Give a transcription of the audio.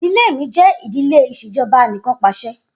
Idile mi jẹ idile ìṣèjọba Anìkanpàṣẹ.